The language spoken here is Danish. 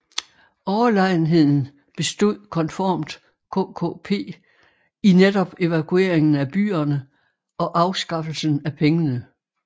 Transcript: Overlegenheden bestod konformt KKP i netop evakueringen af byerne og afskaffelsen af pengene